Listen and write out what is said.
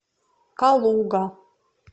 калуга